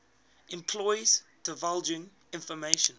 employees divulging information